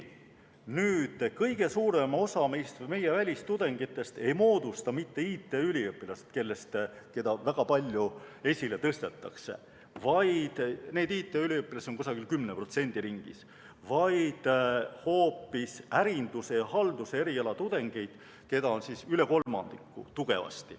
Kõige suurema osa meie välistudengitest ei moodusta mitte IT‑üliõpilased, keda väga palju esile tõstetakse – neid IT‑üliõpilasi on 10% ringis –, vaid hoopis ärinduse ja halduse eriala tudengeid, keda on tugevasti üle kolmandiku.